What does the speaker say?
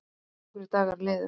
Fjórir dagar liðu.